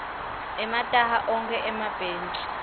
emataha ogwke emabhetji